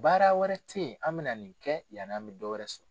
Baara wɛrɛ tɛ yen an bɛna nin kɛ yanni an bɛ dɔwɛrɛ sɔrɔ